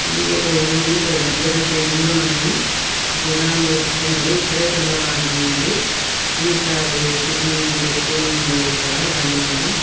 ఇది ఒక ఊరు పెద్ద పెద్ద ఇండ్లు ఉన్నాయి జనాలు వస్తున్నారు ఇప్పుడే తెల్లవారి నుంది టీ స్టాల్ టిఫిన్ పెట్టుకునే ఉన్నారు ఇక్కడ బండిమీద.